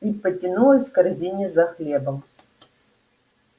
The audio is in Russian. и потянулась к корзине за хлебом